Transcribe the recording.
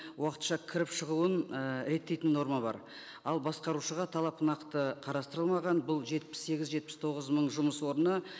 уақытша кіріп шығуын ы реттейтін норма бар ал басқарушыға талап нақты қарастырылмаған бұл жетпіс сегіз жетпіс тоғыз мың жұмыс орны